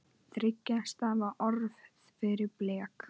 Þriggja stafa orð fyrir blek?